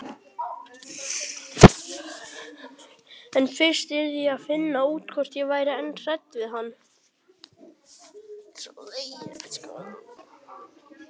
En fyrst yrði ég að finna út hvort ég væri enn hrædd við hann.